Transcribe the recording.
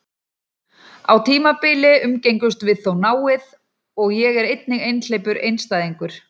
Á tímabili umgengumst við þó náið, og er ég einnig einhleypur einstæðingur.